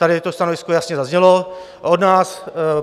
Tady to stanovisko jasně zaznělo od nás.